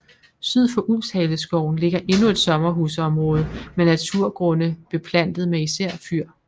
Syd for Ulvshaleskoven ligger endnu et sommerhusområde med naturgrunde beplantet med især fyr